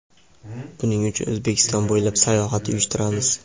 Buning uchun O‘zbekiston bo‘ylab sayohat uyushtiramiz.